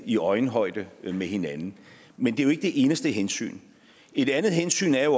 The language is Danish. i øjenhøjde med hinanden men det er jo ikke det eneste hensyn et andet hensyn er